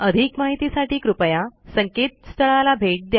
अधिक माहितीसाठी कृपया संकेतस्थळाला भेट द्या